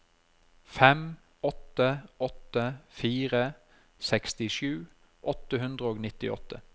fem åtte åtte fire sekstisju åtte hundre og nittiåtte